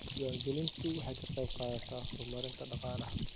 Diiwaangelintu waxay ka qaybqaadataa horumarinta dhaqaalaha.